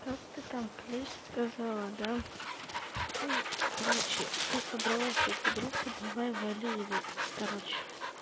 как ты там клещ сказала да ты короче ты собралась с этой группы давай вали или короче